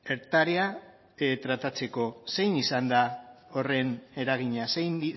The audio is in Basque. hektarea tratatzeko zein izan da horren eragina zein